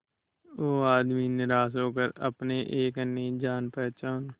वो आदमी निराश होकर अपने एक अन्य जान पहचान